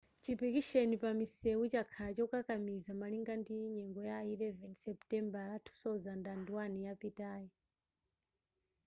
chipikisheni pa misewu chakhala chokakamiza malingana ndi nyengo ya 11 seputembala 2001 yapitayi